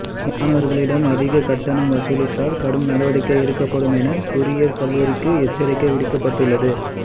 மாணவர்களிடம் அதிக கட்டணம் வசூலித்தால் கடும் நடவடிக்கை எடுக்கப்படும் எனவும் பொறியியல் கல்லூரிகளுக்கு எச்சரிக்கை விடுக்கப்பட்டுள்ளது